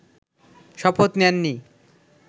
শপথ নেননি